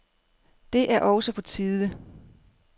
Det er også på tide.